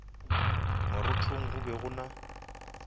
marothong go be go na